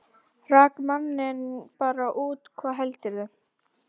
Rak manninn bara út, hvað heldurðu!